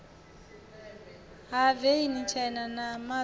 ha veni tshena ya mazda